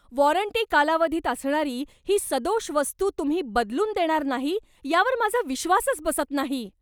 Warranty कालावधीत असणारी ही सदोष वस्तू तुम्ही बदलून देणार नाही यावर माझा विश्वासच बसत नाही.